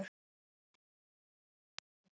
Dreifið yfir eplin.